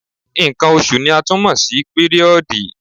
Nǹkan oṣù ni a tún mọ̀ sí píríọ̀dì.